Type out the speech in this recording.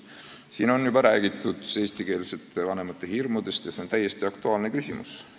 Siin on juba räägitud eestikeelsete vanemate hirmudest ja see on täiesti aktuaalne küsimus.